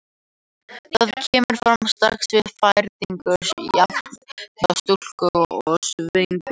Það kemur fram strax við fæðingu, jafnt hjá stúlku- og sveinbörnum.